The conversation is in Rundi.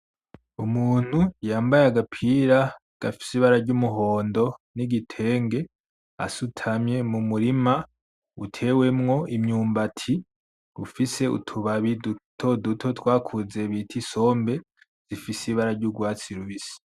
Umuntu yambaye agapira gafise ibara ry'umuhondo n'igitenge asutamye mu murirma utewemwo imyumbati ufise utubabi dutoduto twakuze bita isombe zifise ibara ry'ugwatsi rubisi.